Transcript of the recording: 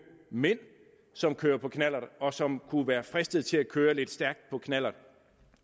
mænd som kører på knallert og som kunne være fristet til at køre lidt stærkt på en knallert